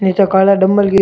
निचे काला डम्बल की --